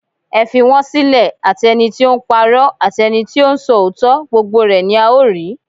Ẹ fi wọn sílẹ̀, àti ẹnití ó ńpa'rọ́, àti ẹnití ó ń sọ òótọ́, gbogbo rẹ́ ni a ó rí.